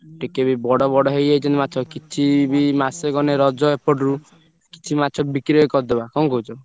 ଟିକେ ବି ବଡ ବଡ ହେଇଯାଇଛନ୍ତି ମାଛ କିଛି ବି ମାସେ ଗଲେ ରଜ ଏପଟରୁ କିଛି ମାଛ ବିକ୍ରି ବି କରିଦବା କଣ କହୁଛ?